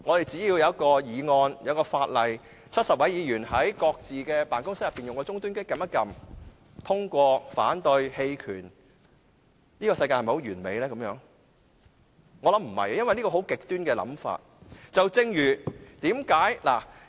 只要有一項議案、法例 ，70 位議員可在各自的辦公室的終端機按下"贊成"、"反對"或"棄權"的按鈕，這樣的世界是否很完美呢？